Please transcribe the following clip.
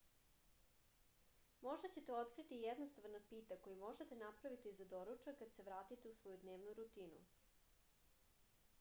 možda ćete otkriti jednostavan napitak koji možete napraviti za doručak kad se vratite u svoju dnevnu rutinu